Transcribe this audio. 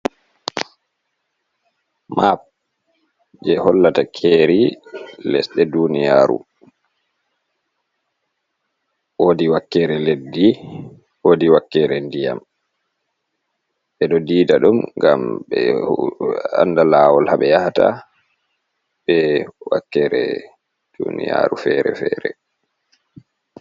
Map je hollata keri lesɗe ɗuniyaru. Woɗi wakkere leɗɗi, woɗi wakkere nɗiyam. Ɓeɗo ɗiɗa ɗum ngam ɓe anɗa lawol ha ɓe yahata, ɓe wakkere ɗuniyaru fere-fere.